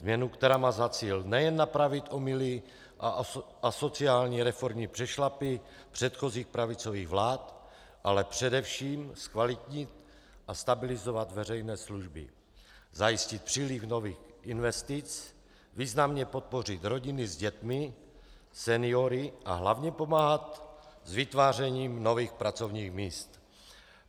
Změnu, která má za cíl nejen napravit omyly a asociální reformní přešlapy předchozích pravicových vlád, ale především zkvalitnit a stabilizovat veřejné služby, zajistit příliv nových investic, významně podpořit rodiny s dětmi, seniory a hlavně pomáhat s vytvářením nových pracovních míst.